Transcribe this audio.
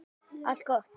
Allt gott.